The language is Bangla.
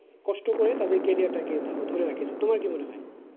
কষ্ট করে তাদের career টাকে ধরে রেখেছে তোমার কি মনে হয়?